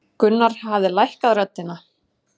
Gunnar hafði lækkað röddina.